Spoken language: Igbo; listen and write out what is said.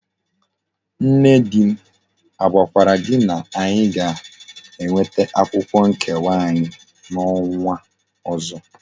Nne di m agwakwara gi na anyi ga enweta akwukwo nkewa anyi na onwa ozo?